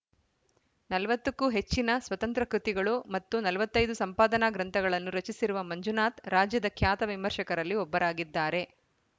ನಲವತ್ತ ಕ್ಕೂ ಹೆಚ್ಚಿನ ಸ್ವತಂತ್ರ ಕೃತಿಗಳು ಮತ್ತು ನಲವತ್ತ್ ಐದು ಸಂಪಾದನಾ ಗ್ರಂಥಗಳನ್ನು ರಚಿಸಿರುವ ಮಂಜುನಾಥ್‌ ರಾಜ್ಯದ ಖ್ಯಾತ ವಿಮರ್ಶಕರಲ್ಲಿ ಒಬ್ಬರಾಗಿದ್ದಾರೆ